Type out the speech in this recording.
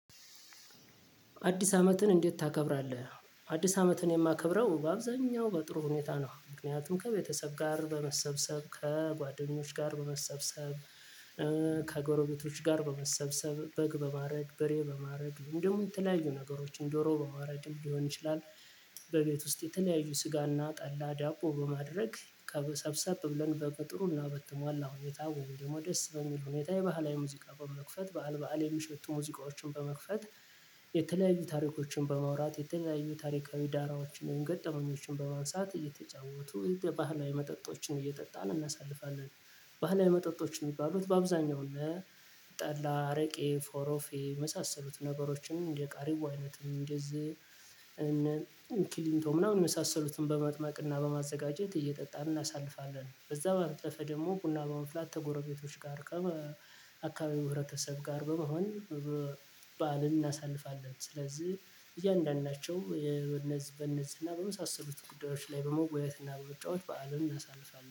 አዲስ አመትን እንዴት ታከብራለህ? አዲስ አመትን የማከብረው በአብዛኛው በጥሩ ሁኔታ ነው። ምክንያቱም ከቤተሰብ ጋር በመሰብሰብ፣ ከጓደኞች ጋር በመሰብሰብ፣ እ ከጎረቤቶች ጋር በመሰብሰብ፣ በግ በማረድ፣ በሬ በማረድ፣ እንዲሁም የተለያዩ ነገሮችን ዶሮ በማረድም ሊሆን ይችላል። በቤት ውስጥ የተለያዩ ስጋና ጠላ፣ ዳቦ በማድረግ ከሰብሰብ ብለን በቅጥሩና በተሟላ አሁን ወይም ደግሞ ደስ በሚል ሁኔታ የባህላዊ ሙዚቃ በመክፈት በዓል በዓል የሚሸቱ ሙዚቃዎችን በመክፈት የተለያዩ ታሪኮችን በማውራት የተለያዩ ታሪካዊ ዳራዎችን ወይም ገጠመኞችን በማንሳት እየተጫወቱ ባህላዊ መጠጦችን እየጠጣን እናሳልፋለን። ባህላዊ መጠጦች የሚባሉት በአብዛኛው እነ ጠላ፣ አረቄ፣ ፎረፌ የመሳሰሉትን ነገሮችን እንደ ቃሪቦ፣ አይነት እንደዚህ እንደ ኪሊንቶ ምናምን የመሳሰሉትን በማጥማቅና በማዘጋጀት እየጠጣን እናሳልፋለን። ከዛ ባለፈ ደግሞ ቡና በማፍላት ከጎረቤቶች ጋር አካባቢ ህብረተሰብ ጋር በመሆን በዓልን እናሳልፋለን። ስለዚህ እያንዳንዳቸው የነዝ በነዚህ እና በመሳሰሉት ጉዳዮች ላይ በመወያየት እና በመጫዎት በዓልን እናሳልፋለን።